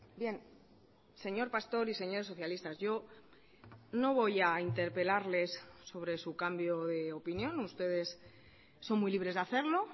bien señor pastor y señores socialistas yo no voy a interpelarles sobre su cambio de opinión ustedes son muy libres de hacerlo